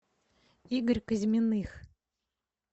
игорь козьминых